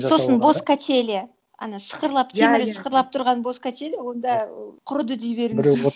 сосын бос качеля ана сықырлап темірі сықырлап тұрған бос качеля онда құрыды дей беріңіз